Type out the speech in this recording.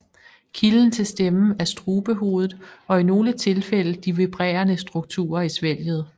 Kilden til stemmen er strubehovedet og i nogle tilfælde de vibrerende strukturer i svælget